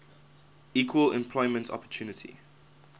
equal employment opportunity